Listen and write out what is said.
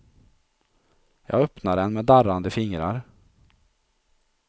Jag öppnade den med darrande fingrar.